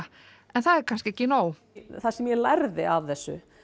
en það er kannski ekki nóg það sem ég lærði af þessu